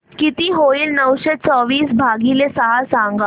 किती होईल नऊशे चोवीस भागीले सहा सांगा